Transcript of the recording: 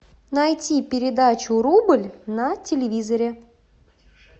найти передачу рубль на телевизоре